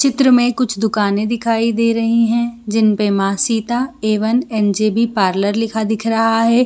चित्र में कुछ दुकाने दिखाई रही है जिसपे मासिदा एवं एन.जे.बी पार्लर लिखा दिख रहा है।